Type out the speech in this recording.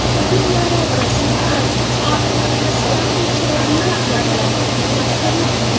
Filmlarda obraz prototiplarini aslidan ham chiroyliroq gavdalantirgan mashhurlar.